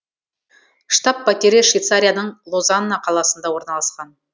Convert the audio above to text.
штаб пәтері швейцарияның лозанна қаласында орналасқан